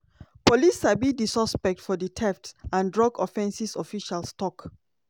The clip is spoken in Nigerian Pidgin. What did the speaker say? police sabi di suspect for di theft and drug offences officials tok.